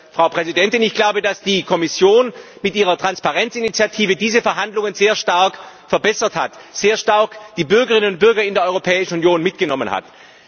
Frau Präsidentin, ich glaube, dass die Kommission mit ihrer Transparenzinitiative diese Verhandlungen sehr stark verbessert hat, sehr stark die Bürgerinnen und Bürger in der Europäischen Union mitgenommen hat.